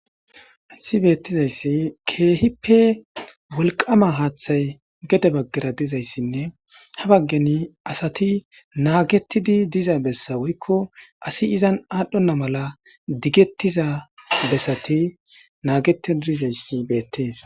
Asi beettizayssi keehippe wolqama haaththay gede baggara dizayssinne ha baggeni asati naagettidi diza bessa woykko asi izan aadhdhonna mala diggettiza bessati naagetidizayssi beettees.